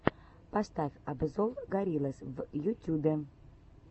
поставь обзор гориллас в ютюбе